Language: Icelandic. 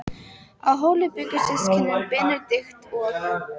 Á Hóli bjuggu systkinin Benedikt og